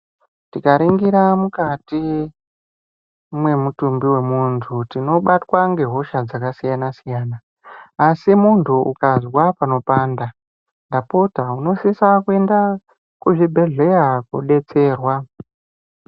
Tikaringira mukati mwemutumbi wemuntu tinobatwa ngehosha dzakasiyana-siyana asi muntu ukazwa panopanda, ndapota unosisa kuenda kzvibhehleya kuodetserwa.